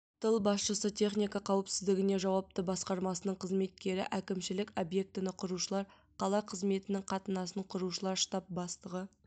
тыл басшысы техника қауіпсіздігіне жауапты басқармасының қызметкері әкімшілік объектіні құрушылар қала қызметінің қатынасын құрушылар штаб бастығы